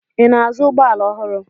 Ị na-azụ ụgbọala ọhụrụ?